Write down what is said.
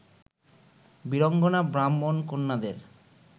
Birangana ব্রাহ্মণ-কন্যাদের